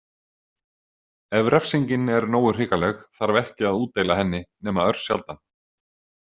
Ef refsingin er nógu hrikaleg þarf ekki að útdeila henni nema örsjaldan.